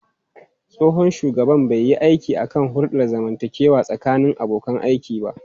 Tsohon shugaban bai yi aiki kan hulɗar zamantakewa tsakanin abokan aiki ba.